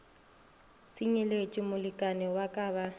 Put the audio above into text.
tsenyeletšwe molekani wa ka ba